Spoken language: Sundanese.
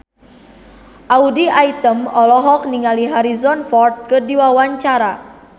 Audy Item olohok ningali Harrison Ford keur diwawancara